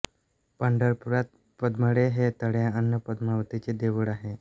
पंढरपुरांत पद्मळे हे तळे अन् पद्मवतीचे देऊळ आहे